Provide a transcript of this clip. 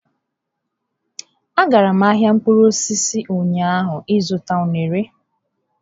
A gara m ahịa mkpụrụ osisi ụnyaahụ ịzụta unere.